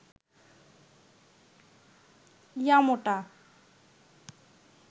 ইয়া মোটা